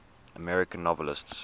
american novelists